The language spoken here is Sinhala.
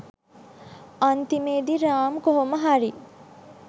අන්තිමේදී රාම් කොහොම හරි